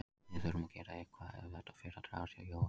Við þurfum að gera eitthvað ef þetta fer að dragast hjá Jóa.